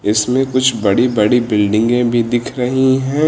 इसमें कुछ बड़ी बड़ी बिल्डिंगे भी दिख रही है।